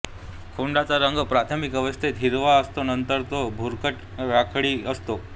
खोडाचा रंग प्राथमिक अवस्थेत हिरवा असतो नंतर तो भुरकट राखाडी असतो